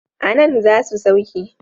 A nan za su sauke.